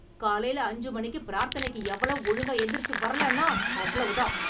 காலைல அஞ்சு மணி பிரார்த்தனைக்கு எவளும் ஒழுங்கா எந்திரிச்சு வரலன்னா அவ்ளவுதான்.